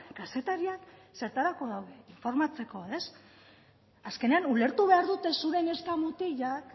kazetariak zertarako daude informatzeko ez azkenean ulertu behar dute zure neska mutilak